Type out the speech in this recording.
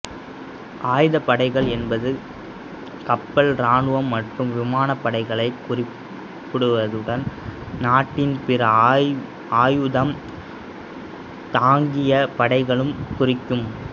ஆயுதப்படைகள் என்பது கப்பல் இராணுவம் மற்றும் விமானப்படைகளைக் குறிப்பதுடன் நாட்டின் பிற ஆயுதம் தாங்கிய படைகளையும் குறிக்கும்